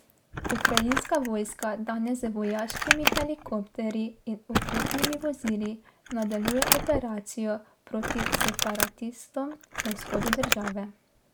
Ukrajinska vojska danes z vojaškimi helikopterji in oklepnimi vozili nadaljuje operacijo proti separatistom na vzhodu države.